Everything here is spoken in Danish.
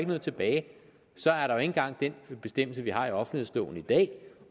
noget tilbage så er der jo ikke engang den bestemmelse vi har i offentlighedsloven i dag